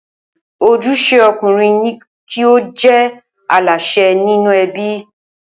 Ojúṣe ọkùnrin ní kí ó jẹ́ Aláṣẹ nínú ẹbí